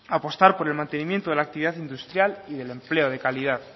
apostar por el mantenimiento de la actividad industrial y del empleo de calidad